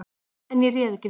En ég réð ekki við mig.